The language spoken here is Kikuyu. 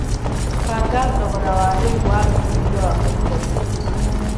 mbanga thogora wa rĩu wa wĩigĩthĩa wa Microsoft